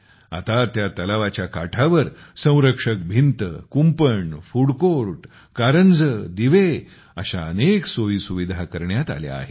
आता त्या तलावाच्या काठावर संरक्षक भिंत कुंपण फूड कोर्ट कारंजे दिवे अशा अनेक सोयी सुविधा करण्यात आल्या आहेत